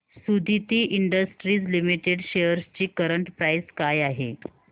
Suditi industries limited shares ची current price काय आहे